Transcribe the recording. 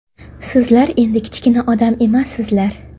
Sizlar endi kichkina odam emassizlar.